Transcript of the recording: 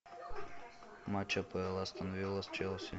матч апл астон вилла с челси